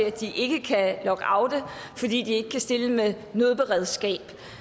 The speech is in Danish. at de ikke kan lockoute fordi de ikke kan stille med nødberedskab